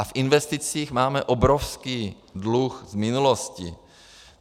A v investicích máme obrovský dluh z minulosti.